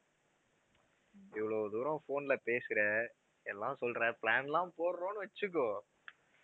இவ்ளோ தூரம் phone ல பேசுற எல்லாம் சொல்ற plan லாம் போடுறோம்னு வெச்சுக்கோ